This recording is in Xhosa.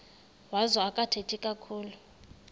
wazo akathethi kakhulu